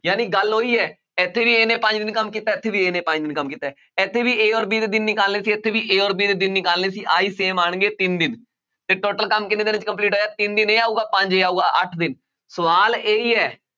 ਜਾਣੀ ਗੱਲ ਉਹੀ ਹੈ ਇੱਥੇ ਵੀ ਇਹਨੇ ਪੰਜ ਦਿਨ ਕੰਮ ਕੀਤਾ, ਇੱਥੇ ਵੀ ਇਹਨੇ ਪੰਜ ਦਿਨ ਕੰਮ ਕੀਤਾ ਹੈ, ਇੱਥੇ ਵੀ a ਔਰ b ਦੇ ਦਿਨ ਨਿਕਾਲਣੇ ਸੀ ਇੱਥੇ ਵੀ a ਔਰ b ਦੇ ਦਿਨ ਨਿਕਾਲਣੇ ਸੀ ਆਹੀ same ਆਉਣਗੇ ਤਿੰਨ ਦਿਨ ਤੇ total ਕੰਮ ਕਿੰਨੇ ਦਿਨਾਂ 'ਚ complete ਹੋਇਆ ਤਿੰਨ ਦਿਨ ਇਹ ਆਊਗਾ ਪੰਜ ਇਹ ਆਊਗਾ ਅੱਠ ਦਿਨ ਸਵਾਲ ਇਹੀ ਹੈ